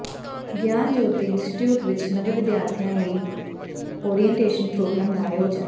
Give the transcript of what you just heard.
ਗਿਆਨ ਜਯੋਤੀ ਇੰਸਟੀਚਿਊਟ ਵਿੱਚ ਨਵੇਂ ਵਿਦਿਆਰਥੀਆਂ ਲਈ ਉਰੀਅਨਟੇਸ਼ਨ ਪ੍ਰੋਗਰਾਮ ਦਾ ਆਯੋਜਨ